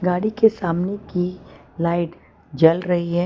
गाड़ी के सामने की लाइट जल रही है।